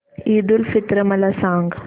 ईद उल फित्र मला सांग